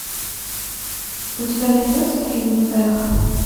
у тебя найдется фильм эхо